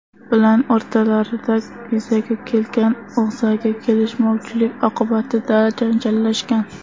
bilan o‘rtalarida yuzaga kelgan og‘zaki kelishmovchilik oqibatida janjallashgan.